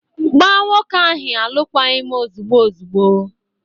Gbaa nwoke ahụ alụkwaghị m ozugbo ozugbo!